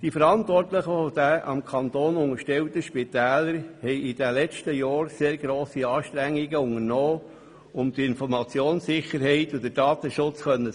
Die Verantwortlichen der dem Kanton unterstellten Spitäler haben im vergangenen Jahr sehr grosse Anstrengungen unternommen, um die Informationssicherheit und den Datenschutz gewährleisten zu können.